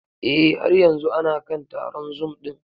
Eh, har yanzu ana kan taron zoom ɗin.